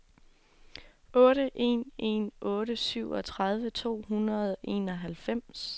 otte en en otte syvogtredive to hundrede og enoghalvfems